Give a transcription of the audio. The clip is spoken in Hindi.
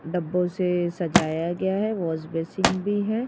डब्बो से सजाया गया है वॉश बेसिन भी है।